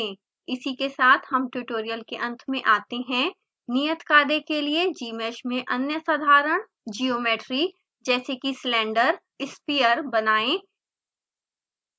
इसी के साथ हम ट्यूटोरियल के अंत में आते हैं नियतकार्य के लिए gmsh में अन्य साधारण geometry जैसे कि सिलेंटर sphere बनाएँ